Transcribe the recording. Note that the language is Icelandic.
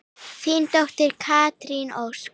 Þín dóttir, Katrín Ósk.